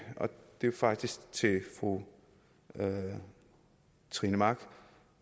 og det er faktisk til fru trine mach